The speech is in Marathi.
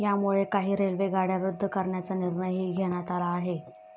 यामुळे काही रेल्वे गाड्या रद्द करण्याचा निर्णयही घेण्यात आला आहे.